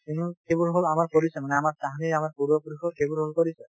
সেইবোৰ সেইবোৰ হল আমাৰ পৰিচয় মানে আমাৰ তাহানিৰ আমাৰ পূৰ্বপুৰুষৰ সেইবোৰ হল পৰিচয়